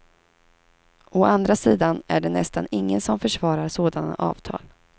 Å andra sidan är det nästan ingen som försvarar sådana avtal.